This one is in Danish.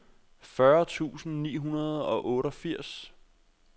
fyrre tusind ni hundrede og otteogfirs